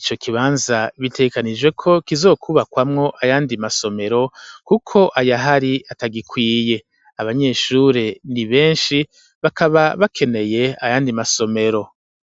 ico kibanza bitegekanijwe ko kizokwubakwamwo ayandi masomero, kuko ayahari atagikwiye, abanyeshure ni benshi bakaba bakeneye ayandi masomero.